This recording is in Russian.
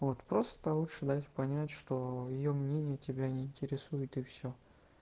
вот просто лучше даёшь понять что её мнение тебя не интересует и всё